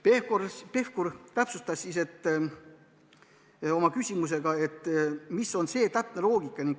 Pevkur palus täpsustada, mis ikkagi on see loogika.